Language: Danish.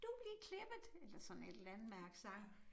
Du blevet klippet eller sådan et eller andet med accent